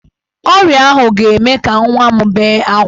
Ọrịa ahụ ga-eme ka nwa m bee ákwá.